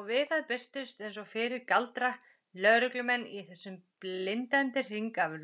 Og við það birtust, eins og fyrir galdra, lögreglumenn í þessum blindandi hring af